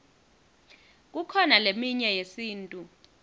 kukhona leminye yesintu